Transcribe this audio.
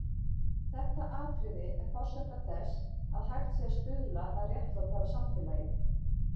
Þetta atriði er forsenda þess að hægt sé að stuðla að réttlátara samfélagi.